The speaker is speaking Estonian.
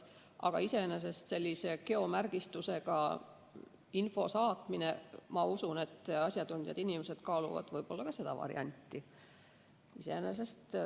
Aga iseenesest sellise geomärgistusega info saatmine – ma usun, et asjatundjad kaaluvad ka seda varianti.